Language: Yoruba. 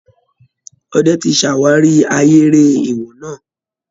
Ọdẹ tí ṣàwárí ahéré èèwọ̀ náà